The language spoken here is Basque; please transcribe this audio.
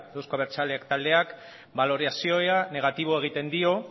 euzko abertzaleak taldeak balorazio negatiboa egiten dio